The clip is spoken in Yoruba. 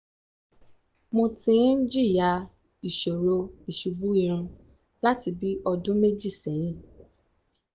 mo ti ń jìyà ìṣòro ìṣubú irun láti bí ọdún méjì sẹ́yìn